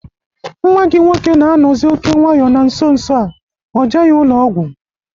Nwa gị nwoke na-anọzị oké nwayọ na nso nso a, kpoje ya ụlọ ọgwụ